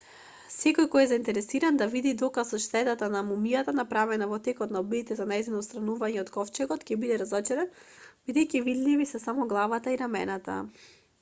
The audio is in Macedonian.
секој кој е заинтересиран да види доказ од штетата на мумијата направена во текот на обидите за нејзино отстранување од ковчегот ќе биде разочаран бидејќи видливи се само главата и рамената